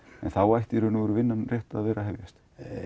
þá ætti vinnan rétt að vera að hefjast